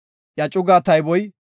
Iya cugaa tayboy 46,500.